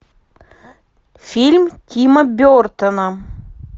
фильм тима бертона